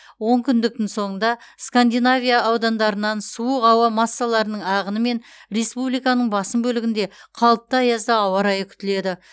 онкүндіктің соңында скандинавия аудандарынан суық ауа массаларының ағынымен республиканың басым бөлігінде қалыпты аязды ауа райы күтіледі